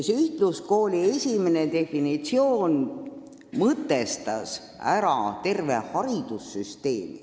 Ühtluskooli esimene definitsioon mõtestas ära terve haridussüsteemi.